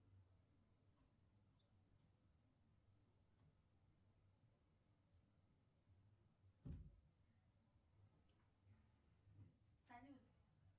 салют